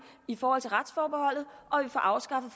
i forhold til retsforbeholdet og at vi får afskaffet